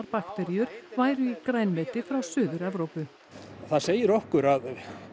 bakteríur væru í grænmeti frá Suður Evrópu það segir okkur að